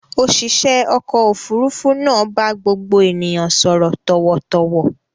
Òṣìṣẹ́ ọkọ̀-òfurufú náà bá gbogbo ènìyàn sọ̀rọ̀ tọ̀wọ̀tọ̀wọ̀.